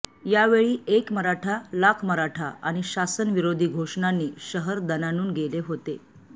या वेळी एक मराठा लाख मराठा आणि शासन विरोधी घोषणांनी शहर दणानुन गेले होते